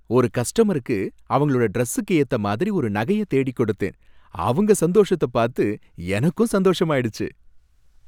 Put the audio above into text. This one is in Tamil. ஒரு கஸ்டமருக்கு அவங்களோட டிரஸ்ஸுக்கு ஏத்தமாதிரி ஒரு நகைய தேடிக் கொடுத்தேன், அவங்க சந்தோஷத்த பார்த்து எனக்கும் சந்தோஷமாயிடுச்சு